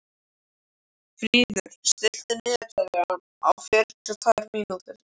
Fríður, stilltu niðurteljara á fjörutíu og tvær mínútur.